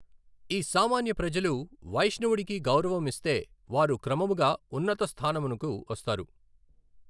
ఈ సామాన్య ప్రజలు వైష్ష్ణవుడికి గౌరవం ఇస్తే వారు క్రమముగా ఉన్నత స్థానమునకు వస్తారు.